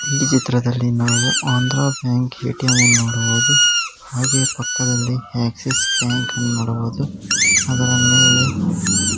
ಈ ಚಿತ್ರದಲ್ಲಿ ನಾವು ಆಂಧ್ರ ಬ್ಯಾಂಕ್ ಎ.ಟಿ.ಎಂ ನೋಡಬಹುದು ಹಾಗೆ ಪಕ್ಕದಲ್ಲಿ ಆಕ್ಸಿಸ್ ಬ್ಯಾಂಕ್ ನೋಡಬಹುದು ಅದರ ಮೇಲೆ--